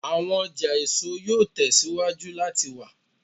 Awọn ọja eso yoo tẹsiwaju lati wa